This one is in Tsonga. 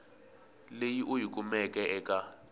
leyi u yi kumeke eka